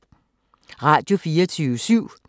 Radio24syv